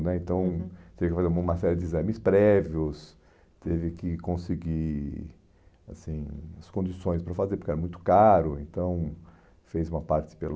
né Então, uhum, teve que fazer uma série de exames prévios, teve que conseguir assim as condições para fazer, porque era muito caro, então fez uma parte pelo...